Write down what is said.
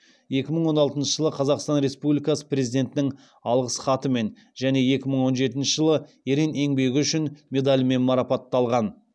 екі мың он алтыншы жылы қазақстан республикасы президентінің алғыс хатымен және екі мың он жетінші жылы ерен еңбегі үшін медалімен марапатталған